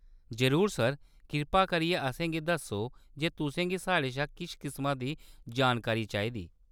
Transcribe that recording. जरूर, सर ! कृपा करियै असेंगी दस्सो जे तुसें गी साढ़े शा किस किसमा दी जानकारी चाहिदी।